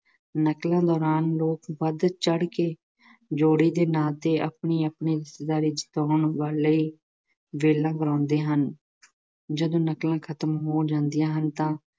ਨਕਲਾਂ ਦੌਰਾਨ ਲੋਕ ਵੱਧ ਚੜ੍ਹਕੇ ਜੋੜੇ ਦੇ ਨਾਂ ਤੇ ਆਪਣੇ ਆਪਣੇ ਗਲੇ ਚ ਪਾਉਣ ਵਾਲੇ ਲਈ ਗਾਉਂਦੇ ਹਨ, ਜਦੋਂ ਨਕਲਾਂ ਖਤਮ ਹੋ ਜਾਂਦੀਆਂ ਹਨ ਤਾਂ